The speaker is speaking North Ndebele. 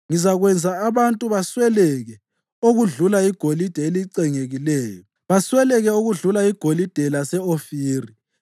Ngizakwenza abantu basweleke okudlula igolide elicengekileyo, basweleke okudlula igolide lase-Ofiri.